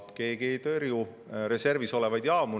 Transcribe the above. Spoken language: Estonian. Keegi ei tõrju reservis olevaid jaamu.